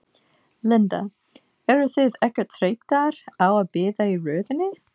Linda: Eruð þið ekkert þreyttar á að bíða í röðinni?